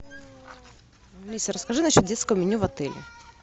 алиса расскажи насчет детского меню в отеле